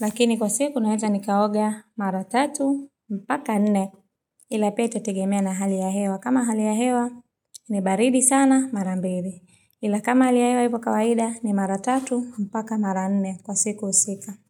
lakini kwa siku naeza nikaoga mara 3 mpaka 4 ila pia itategemea na hali ya hewa kama hali ya hewa ni baridi sana mara 2 ila kama hali ya hewa ipo kawaida ni mara 3 mpaka mara 4 kwa siku husika.